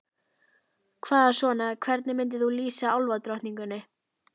Hvað svona, hvernig myndir þú lýsa álfadrottningunni?